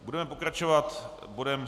Budeme pokračovat bodem